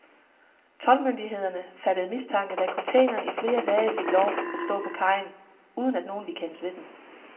Toldmyndighederne fattede mistanke, da containeren i flere dage fik lov at stå på kajen, uden at nogen ville kendes ved den.